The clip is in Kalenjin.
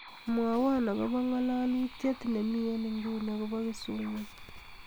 mwowon agobo ng'alalutyet nemi en inguni agobo kisumu